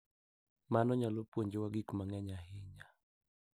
Mano nyalo puonjowa gik mang’eny ahinya .